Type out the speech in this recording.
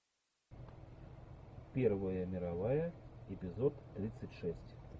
первая мировая эпизод тридцать шесть